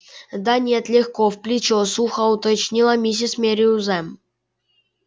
да нет легко в плечо сухо уточнила миссис мерриуэзер